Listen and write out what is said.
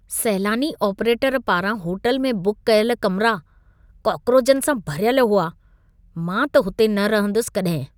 सैलानी आपरेटर पारां होटल में बुक कयल कमिरा, काक्रोचनि सां भरियल हुआ। मां त हुते न रहंदुसि कॾहिं।